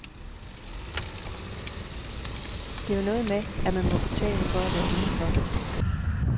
Det er jo noget med, at man må betale for at være inden for.